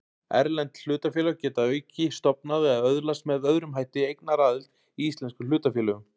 Erlend hlutafélög geta að auki stofnað eða öðlast með öðrum hætti eignaraðild í íslenskum hlutafélögum.